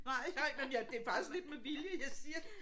Nej ej men jeg det er faktisk lidt med vilje jeg siger